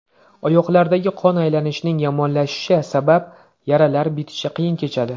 Oyoqlardagi qon aylanishining yomonlashishi sabab yaralar bitishi qiyin kechadi.